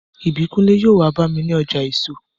Ìbíkúnlé yóò wá bá mi ní ọjà èso